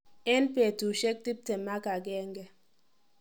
En betusiek tiptem ak agenge.